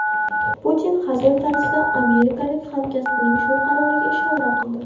Putin hazil tarzida amerikalik hamkasbining shu qaroriga ishora qildi.